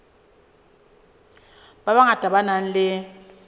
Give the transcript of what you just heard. ba bangata ba nang le